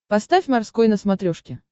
поставь морской на смотрешке